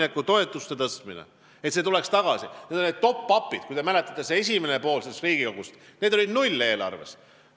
Kui te mäletate, siis nende top-up'idega tegeles praegune Riigikogu oma töö esimeses pooles, kui need olid eelarves null.